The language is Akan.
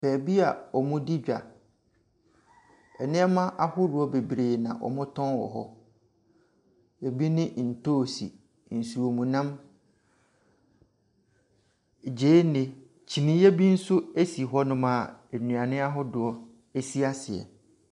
Baabi a wɔdi dwa. Nneɛma ahodoɔ bebree na wɔtɔn wɔ hɔ. Ebi ne ntoosi, nsuomnam, gyeene, kyiniiɛ bi nso si hɔnom a nnuane ahodoɔ si aseɛ.